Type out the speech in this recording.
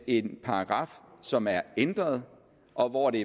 en paragraf som er ændret og hvori det